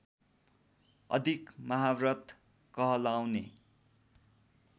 अधिक महाव्रत कहलाउने